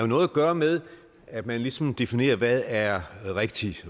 noget at gøre med at man ligesom definerer hvad der er rigtigt